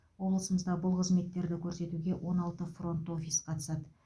облысымызда бұл қызметтерді көрсетуге он алты фронт офис қатысады